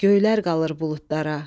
Göylər qalır buludlara.